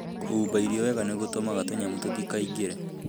Kũhumba irio wega nĩ gũtũmaga tũnyamũ tũtikaingĩre.